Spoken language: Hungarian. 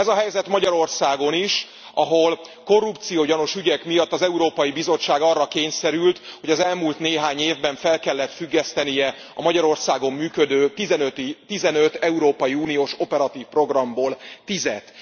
Ez a helyzet Magyarországon is, ahol korrupciógyanús ügyek miatt az Európai Bizottság arra kényszerült, hogy az elmúlt néhány évben fel kellett függesztenie a Magyarországon működő tizenöt európai uniós operatív programból tízet.